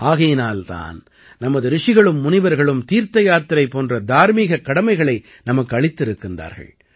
ஆகையினால் தான் நமது ரிஷிகளும் முனிவர்களும் தீர்த்தயாத்திரை போன்ற தார்மீகக் கடமைகளை நமக்கு அளித்திருக்கிறார்கள்